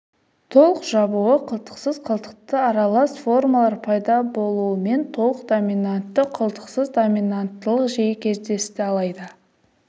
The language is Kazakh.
толық жабуы қылтықсыз қылтықты аралас формалар пайда болуымен толық доминантты қылтықсыз доминанттылық жиі кездесті алайда